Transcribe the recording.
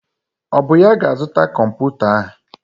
Ọ bụ ya ga-azụta kọmputa ahụ?